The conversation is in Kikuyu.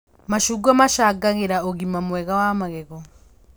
Macungwa macangagĩra ũgima mwega wa magego